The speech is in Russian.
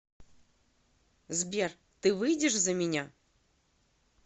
сбер ты выйдешь за меня